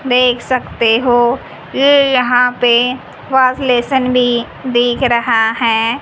देख सकते हो यहां पे वॉशबेसन भी दिख रहा है।